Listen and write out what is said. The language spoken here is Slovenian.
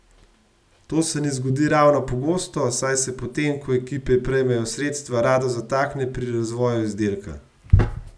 To se ne zgodi ravno pogosto, saj se, potem ko ekipe prejmejo sredstva, rado zatakne pri razvoju izdelka.